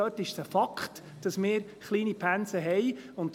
Dort ist es ein Fakt, dass wir kleine Pensen haben.